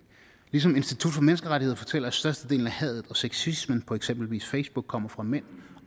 ligesom institut for menneskerettigheder fortæller at størstedelen af hadet og sexismen på eksempelvis facebook kommer fra mænd